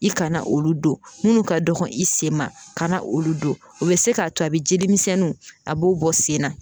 I kana olu don munnu ka dɔgɔ i sen ma ka na olu don o be se k'a to a be jelimisɛnnuw a b'o bɔ sen na